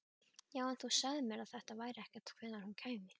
Já, en þú sagðir mér ekkert hvenær hún kæmi.